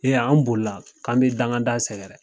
Ee an boli la k'an bi dangada sɛgɛrɛ